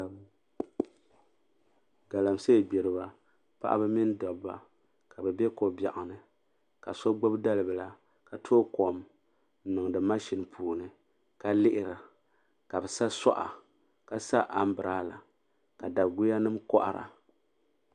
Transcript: Galamse gburiba paɣaba mini daba ka bi bɛ kobɛɣuni ka so gbubi dali bila. ka tookom n niŋdi mashien puuni. ka lihira ka bɛ sa suɣa ka sa ambirela, ka guyanim kohira.